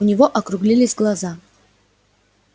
у него округлились глаза